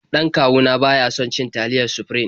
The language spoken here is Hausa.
Dan kawu na ba ya son cin taliyar Sufrim.